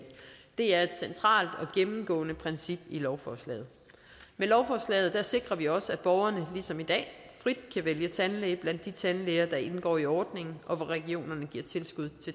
det er et centralt og gennemgående princip i lovforslaget med lovforslaget sikrer vi også at borgerne ligesom i dag frit kan vælge tandlæge blandt de tandlæger der indgår i ordningen og hvor regionerne giver tilskud